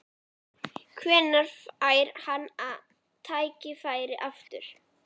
Hvenær fær hann tækifærið aftur?